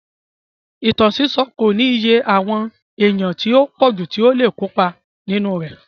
Ìtàn sísọ́ kò ní iye àwọn èèyàn tí ó pọ̀jù tí ó le kópa nínú rẹ̀.